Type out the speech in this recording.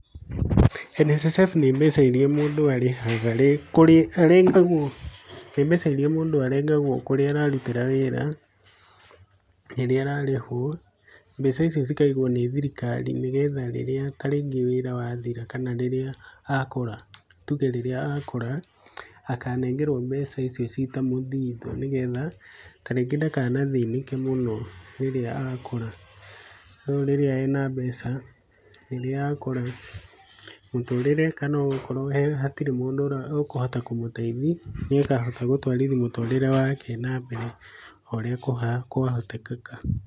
NSSF nĩ mbeca iria mũndũ arengagwo kũrĩa ararutĩra wĩra, rĩrĩa ararĩhwo, mbeca icio ikagwo nĩ thirikari nĩgetha rĩrĩa tarĩngĩ wĩra wathira kana rĩrĩa akũra, tuge rĩrĩa akũra akanengerwo mbeca icio citamũthithũ nĩgetha ta rĩngĩ ndakathĩnĩke mũno rĩrĩa akũra no rĩrĩa ena mbeca, rĩrĩa akũra mũtũrĩre kana gũkorwe gũtirĩ mũndũ ekũhota kũmũteithia nĩũkahota gũtwarithia mũtũrĩre wake na mbere oũrĩa kwahotekeka.